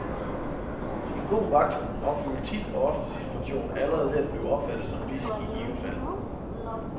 En god vagthund opfylder tit og ofte sin funktion allerede ved at blive opfattet som bidsk i givet fald.